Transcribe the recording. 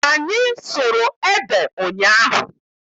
Anyị sụrụ ede ụnyaahụ.